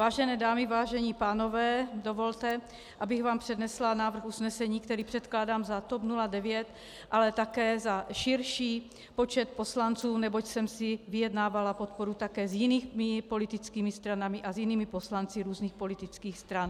Vážené dámy, vážení pánové, dovolte, abych vám přednesla návrh usnesení, který předkládám za TOP 09, ale také za širší počet poslanců, neboť jsem si vyjednávala podporu také s jinými politickými stranami a s jinými poslanci různých politických stran.